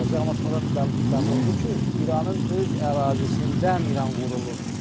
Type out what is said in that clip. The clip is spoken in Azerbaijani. Amma sonradan bəlli oldu ki, İranın öz ərazisindən İran vurulur.